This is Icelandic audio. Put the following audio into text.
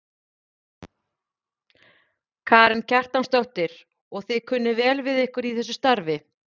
Karen Kjartansdóttir: Og þið kunnið vel við ykkur í þessu starfi?